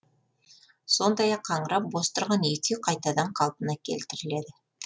сондай ақ қаңырап бос тұрған екі үй қайтадан қалпына келтіріледі